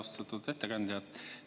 Austatud ettekandja!